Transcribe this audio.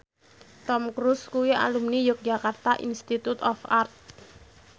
Tom Cruise kuwi alumni Yogyakarta Institute of Art